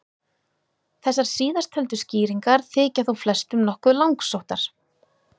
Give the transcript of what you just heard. Þessar síðasttöldu skýringar þykja þó flestum nokkuð langsóttar.